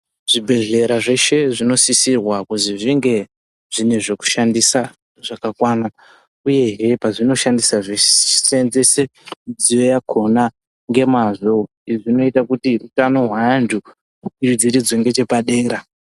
Zvibhedhlera zveshe zvinosisirwa kuzi zvinge zvine zvokushandisa zvakakwana, uyehe pazvinoshandisa zvisiiiseenzese mudziyo yakhona ngemazvo. Izvi zvinoita kuti utano hweantu hukwidziridzwe ngechepadenga.